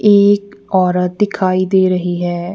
एक औरत दिखाई दे रही है।